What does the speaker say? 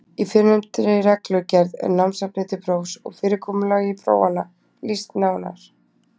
Í fyrrnefndri reglugerð er námsefni til prófs og fyrirkomulagi prófanna lýst nánar.